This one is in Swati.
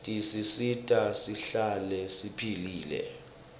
tisisita sihlale siphilile